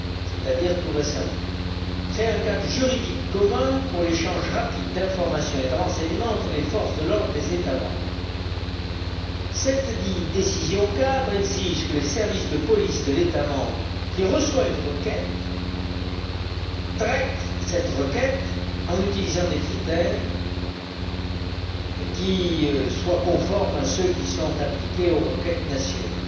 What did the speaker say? c'est à dire tout récemment, crée un cadre juridique commun pour l'échange rapide d'informations et de renseignements entre les forces de l'ordre des États membres. Cette décision cadre exige que les services de police de l'État membre qui reçoit une requête traitent cette requête en utilisant des critères qui soient conformes à ceux qui sont appliqués aux requêtes nationales.